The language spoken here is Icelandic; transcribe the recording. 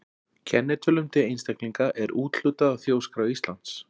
Kennitölum til einstaklinga er úthlutað af Þjóðskrá Íslands.